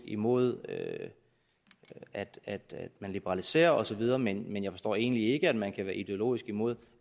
imod at liberalisere og så videre men jeg forstår egentlig ikke at man kan være ideologisk imod